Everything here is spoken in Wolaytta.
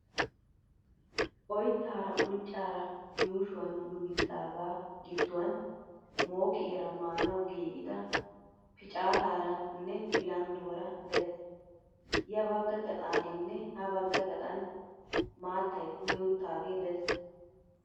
Oyittaara unccaara yuushuwan yuuyyidaagaa gidduwan mooqiyaara maanawu giigida picaataaranne bilandduwaara des. Ya bagga gaxaaninne ha bagga gaxan maattayi kumi uttaagee des.